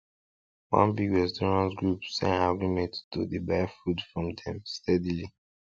one big restaurant group sign agreement to dey buy food from dem steadily